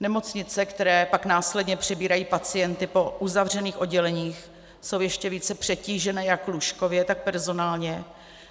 Nemocnice, které pak následně přebírají pacienty po uzavřených odděleních, jsou ještě více přetížené jak lůžkově, tak personálně,